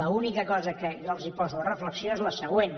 l’única cosa que jo els poso a reflexió és la següent